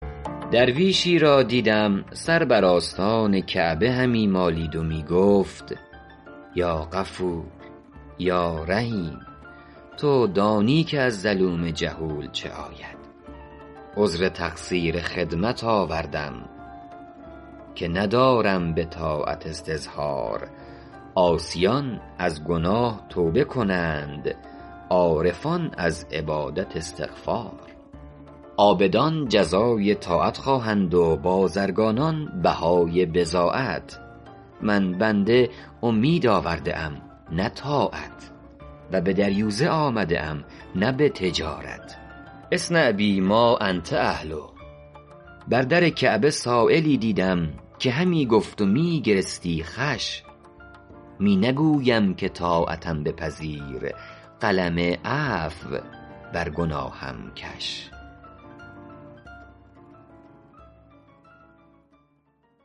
درویشی را دیدم سر بر آستان کعبه همی مالید و می گفت یا غفور یا رحیم تو دانی که از ظلوم جهول چه آید عذر تقصیر خدمت آوردم که ندارم به طاعت استظهار عاصیان از گناه توبه کنند عارفان از عبادت استغفار عابدان جزای طاعت خواهند و بازرگانان بهای بضاعت من بنده امید آورده ام نه طاعت و به دریوزه آمده ام نه به تجارت اصنع بی ما انت اهله بر در کعبه سایلی دیدم که همی گفت و می گرستی خوش می نگویم که طاعتم بپذیر قلم عفو بر گناهم کش